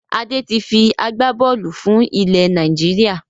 Adé tí fi agbá-bọ́ọ́lù fún ilẹ̀ Nàìjíríà.